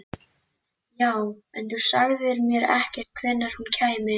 Já, en þú sagðir mér ekkert hvenær hún kæmi.